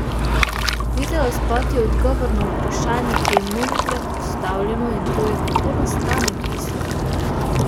Videospot je odgovor na vprašanje, ki je mnogokrat postavljeno in to je, kako nastane pesem?